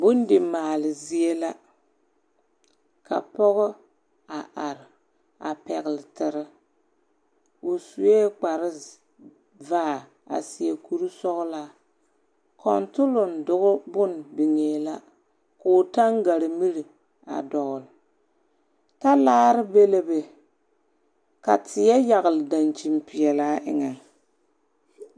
Bondimaale zie la, ka pͻgͻ a are a pԑgele tere. O sue kpare vaa a seԑ kuri sͻgelaa. Kͻntoloŋ doge bone biŋee la. Koo taŋgare miri a dͻgele. Talaare be le be, ka teԑ yagele daŋkyin peԑlaa eŋԑŋ.